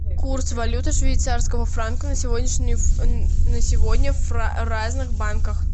курс валюты швейцарского франка на сегодня в разных банках